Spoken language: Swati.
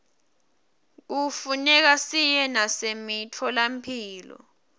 kufuneka siye nasemitfolamphilo